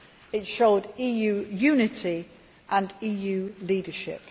It showed EU unity and EU leadership.